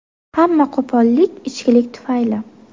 Hamma qo‘pollik ichkilik tufayli.